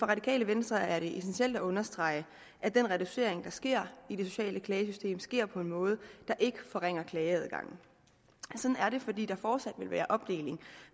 radikale venstre er det essentielt at understrege at den reducering der sker i det sociale klagesystem sker på en måde der ikke forringer klageadgangen sådan er det fordi der fortsat vil være en opdeling